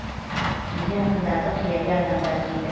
кейде ақындарды қияли адамдар дейді